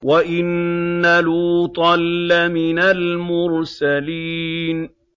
وَإِنَّ لُوطًا لَّمِنَ الْمُرْسَلِينَ